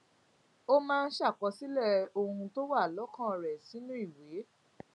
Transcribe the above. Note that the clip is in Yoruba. ó máa ń ṣàkọsílẹ ohun tó wà lókàn rẹ sínú ìwé